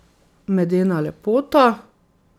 Medena lepota.